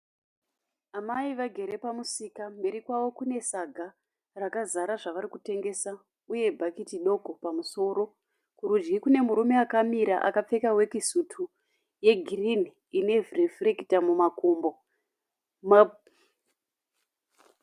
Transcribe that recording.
Amai vagere pamusika mberi kwavo kune saga rakazara zvavari kutengesa uye bhaketi doko pamusoro kurudyi kune murume akamira akapfeka weki sutu yegirini ine rifurekita mumakumbo.